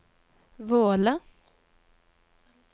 Våle